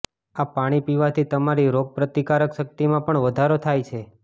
આ પાણી પીવાથી તમારી રોગપ્રતિકારક શક્તિમાં પણ વધારો થાય છે